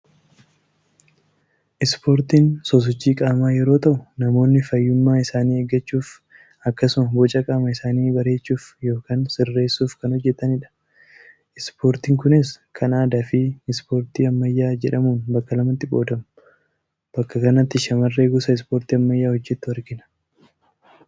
Ispoortiin sosochii qaamaa yeroo ta'u namoonni fayyummaa isaanii eeggachuuf akkasuma boca qaama isaanii bareechuuf yookaan sirreessuuf kan hojjetanidha. Ispoortii kunis kan aadaa fi Ispoortii kan ammayyaa jedhamun bakka lamatti qoodamu. Bakka kanatti shammaree gosa Ispoortii ammayyaa hojjettu argina.